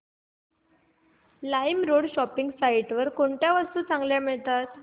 LimeRoad shopping site वर कोणत्या वस्तू चांगल्या मिळतात